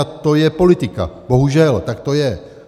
A to je politika, bohužel, tak to je.